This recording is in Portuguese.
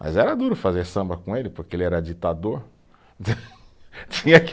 Mas era duro fazer samba com ele, porque ele era ditador. Tinha que